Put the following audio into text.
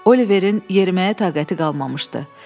Oliverin yeriməyə taqəti qalmamışdı.